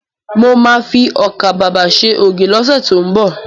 Mo ma fi ọkà babà ṣe ògì lọ́sẹ̀ tó ń bọ̀